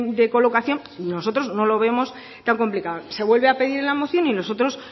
de colocación nosotros no lo vemos tan complicado se vuelve a pedir en la moción y nosotros